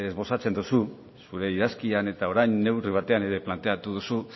bozatzen dugu zure idazkian eta orain neurri batean ere planteatu duzu